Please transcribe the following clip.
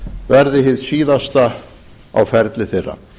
verði hið síðasta á ferli þeirra